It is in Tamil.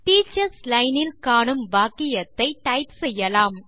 டீச்சர்ஸ் லைன் இல் காணும் வாக்கியத்தை டைப் செய்யலாம்